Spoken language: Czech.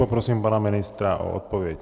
Poprosím pana ministra o odpověď.